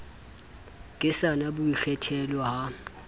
ke sa na boikgethelo ha